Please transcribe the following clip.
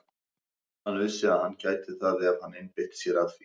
Hann vissi að hann gæti það ef hann einbeitti sér að því.